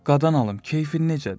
Qadan alım, keyfin necədir?